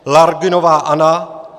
Lagrunová Anna